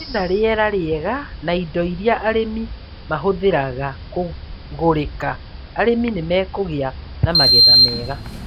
Kwĩna rĩera rĩega na indo iria arĩmi mahũthagĩra kũgũrĩka, arĩmi nĩ mekũgĩa na magetha mega.